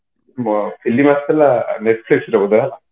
ବ film ଆସିଥିଲା netflix ର ବୋଧେ ହେଲା